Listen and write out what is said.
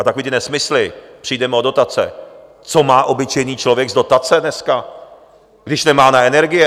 A takové ty nesmysly - přijdeme o dotace: co má obyčejný člověk z dotace dneska, když nemá na energie?